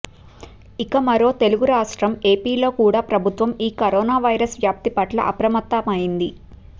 ఇక మరో తెలుగు రాష్ట్రం ఏపిలో కూడా ప్రభుత్వం ఈ కరోనా వైరస్ వ్యాప్తి పట్ల అప్రమత్తమయ్యింది